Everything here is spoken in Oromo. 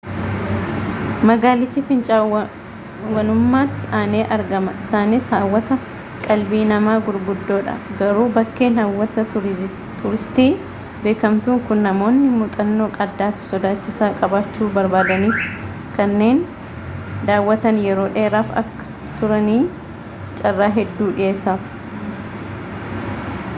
magaalichi fincaa'aawwanumatti aanee argama isaanisa hawwata qalbii namaa gugddoodha garuu bakkeen hawwata tuuristii beekamtuun kun namoonni muuxannoo addaafi sodaachisaa qabaachuu barbaadaniifi kanneen daawwatan yeroo dheeraaf akka turaniif caarraa hedduu dhiyeessaaf